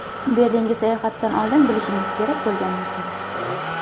Berlinga sayohatdan oldin bilishingiz kerak bo‘lgan narsalar.